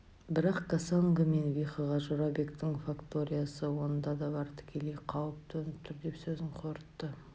бірақ кассанго мен вихоға жорабектің факториясы онда да бар тікелей қауіп төніп тұр деп сөзін қорытты